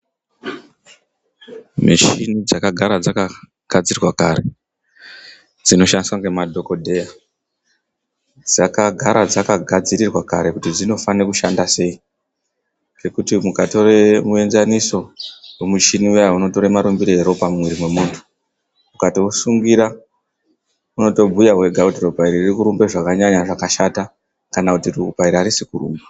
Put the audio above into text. Muchini dzakagara dzakagadzirwa kare dzinoshandiswa nemadhogodheya dzakagara dzakagadzirwa kare kuti dzinofanira kushanda sei ngekuti mukatore muenzaniso wemuchini uyani unotora maruambire eropa mumwiri memuntu, ukatousungira unotobhuya wega kuti ropa iri ririkurumba zvakanyanya zvakashata kana kuti ropa iri arisi kurumba .